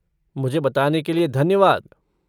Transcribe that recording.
मुझे बताने के लिए धन्यवाद।